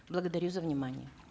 благодарю за внимание